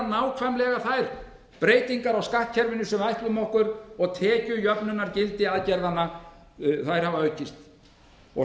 nákvæmlega þær breytingar á skattkerfinu sem við ætluðum okkur og tekjujöfnunargildi aðgerðanna hefur aukist hið